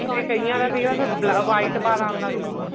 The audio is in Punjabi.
ਤੇ ਕਈਆਂ ਦਾ ਸਿਰਫ white ਬਾਲ ਆਣ ਲੱਗ ਜਾਂਦੇ ਨੇ